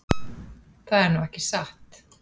Það er nú ekki satt.